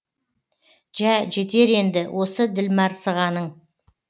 жә жетер енді осы ділмарсығаның